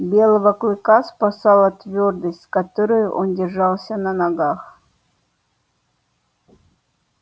белого клыка спасала твёрдость с которой он держался на ногах